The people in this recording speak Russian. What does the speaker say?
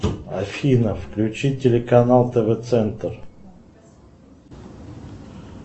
афина включи телеканал тв центр